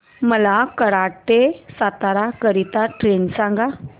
मला कराड ते सातारा करीता ट्रेन सांगा